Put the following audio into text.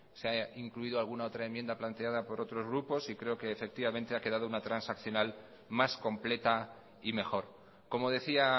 se ha incluido alguna otra enmienda planteada por otros grupos y creo que efectivamente ha quedado una transaccional más completa y mejor como decía